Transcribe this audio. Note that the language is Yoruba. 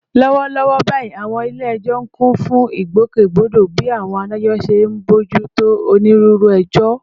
Lọ́wọ́lọ́wọ́ báyìí, àwọn ilé ẹjọ́ ń kún fún ìgbòkègbodò bí àwọn adájọ́ ṣe ń bójú tó onírúurú ẹjọ́